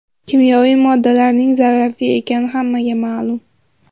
Kimyoviy moddalarning zararli ekani hammaga ma’lum.